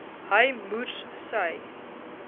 hy moers sy